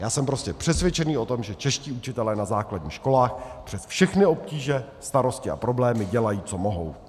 Já jsem prostě přesvědčen o tom, že čeští učitelé na základních školách přes všechny obtíže, starosti a problémy dělají co mohou.